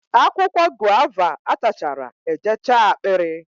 akwụkwọ guava atachara ejechaa akpịrị